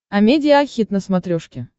амедиа хит на смотрешке